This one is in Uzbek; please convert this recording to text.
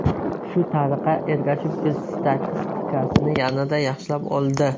Shu tariqa Ergashev o‘z statistikasini yanada yaxshilab oldi.